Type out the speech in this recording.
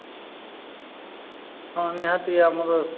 ହଁ, ନିହାତି ଆମର